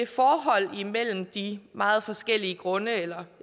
forholdet mellem de meget forskellige grunde eller